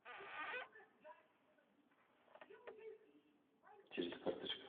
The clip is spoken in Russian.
через карточку